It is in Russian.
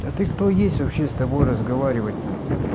а ты кто есть вообще с тобой разговаривать на